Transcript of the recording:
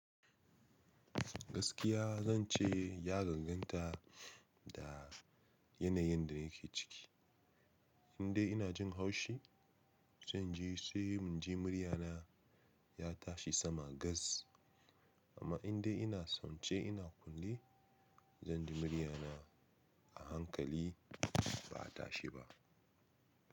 Gaskiya zan ce ya gagganta da yanayin da nake ciki. Indai ina jin haushi, zan ji sai munje muryana ya tashi sama gas. Amma indai ina son ce ina kulle, zanji muryana a hankali ba a tashi ba.